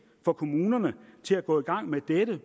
for kommunerne til at gå i gang med dette